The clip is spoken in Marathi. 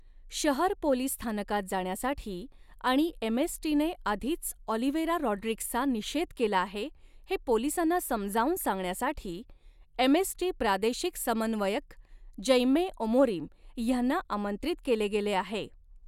शहर पोलिस स्थानकात जाण्यासाठी आणि एमएसटीने आधीच ऑलिव्हेरा रॉड्रिग्सचा निषेध केला आहे, हे पोलिसांना समजावून सांगण्यासाठी, एमएसटी प्रादेशिक समन्वयक जैमे ओमोरीम ह्यांना आमंत्रित केले गेले आहे.